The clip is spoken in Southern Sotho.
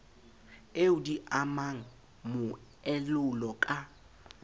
eo di amang moelolo ka